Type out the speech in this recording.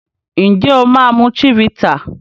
Njé o ma mu Chivita?